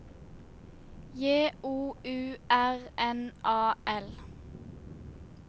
J O U R N A L